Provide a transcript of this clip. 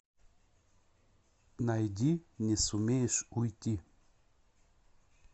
найди не сумеешь уйти